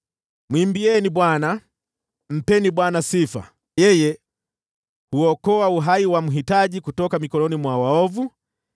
Mwimbieni Bwana ! Mpeni Bwana sifa! Yeye huokoa uhai wa mhitaji kutoka mikononi mwa waovu.